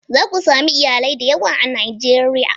Za ku sami iyalai da yawa a Najeriya.